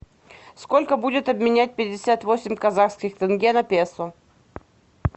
сколько будет обменять пятьдесят восемь казахских тенге на песо